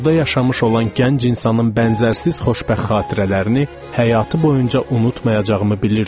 Burda yaşamış olan gənc insanın bənzərsiz xoşbəxt xatirələrini həyatı boyunca unutmayacağımı bilirdim.